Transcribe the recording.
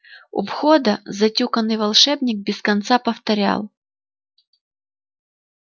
у входа затюканный волшебник без конца повторял